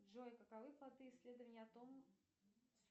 джой каковы плоды исследования о том